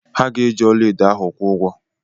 Ha ga-eji ọlaedo ahụ kwụ ụgwọ.